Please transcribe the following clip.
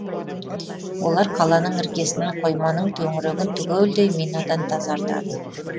олар қаланың іргесін қойманың төңірегін түгелдей минадан тазартады